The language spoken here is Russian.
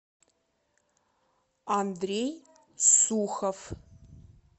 андрей сухов